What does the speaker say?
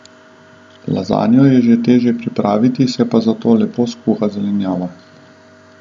Lazanjo je že težje pripraviti, se pa zato lepo skuha zelenjava.